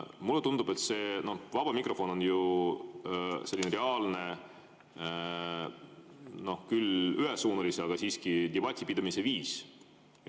Mulle tundub, et vaba mikrofon on selline reaalne – küll ühesuunaline, aga siiski – debati pidamise viis.